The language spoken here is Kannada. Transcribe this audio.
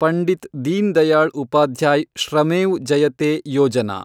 ಪಂಡಿತ್ ದೀನ್‌ದಯಾಳ್ ಉಪಾಧ್ಯಾಯ್‌ ಶ್ರಮೇವ್ ಜಯತೆ ಯೋಜನಾ